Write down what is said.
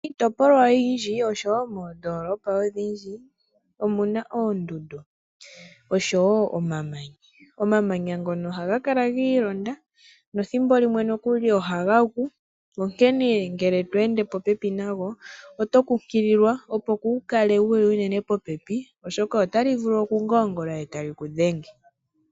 Miitopolwa oyindji oshowoo moondoolopa odhindji omuna oondundu oshowoo omamanya. Oomamanya ngono ohaga kala giilonda nethimbo limwe ohaga gu, onkene ngele tweende popepi nago oto kunkililwa opo kuukale wuli unene popepi oshoka otali vulu okungoongola eta li kudhenge.